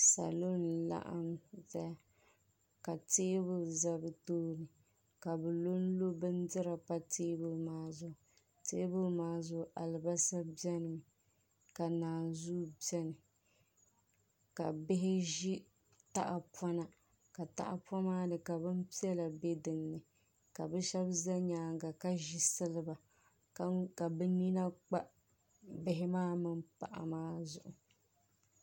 salo n-laɣim zaya ka teebuli za bɛ tooni ka bɛ lɔ n-lɔ bindira pa teebuli maa zuɣu teebuli maa zuɣu alibalsa beni mi ka naanzuu beni ka bihi ʒi tahapona ka tahapona maa ni ka bin piɛla be din ni ka bɛ shɛba za nyaaga ka ʒi siliba ka bɛ nina kpa bihi maa mini paɣa maa zuɣu.